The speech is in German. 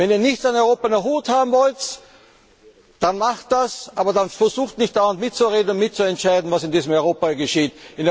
Wenn Ihr nichts mit Europa am Hut haben wollt, dann macht das, aber versucht nicht dauernd mitzureden und mitzuentscheiden, was in diesem Europa geschieht.